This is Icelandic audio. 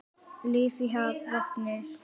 Líf í vatni.